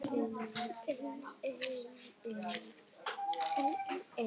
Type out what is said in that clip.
Þetta eru þær bestu í heimi!